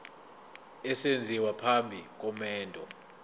esenziwa phambi komendo